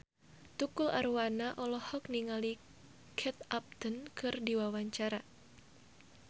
Tukul Arwana olohok ningali Kate Upton keur diwawancara